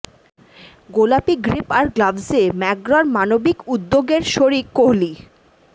গোলাপি গ্রিপ আর গ্লাভসে ম্যাকগ্রার মানবিক উদ্যোগের শরিক কোহালি